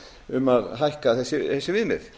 um að hækka þessi viðmið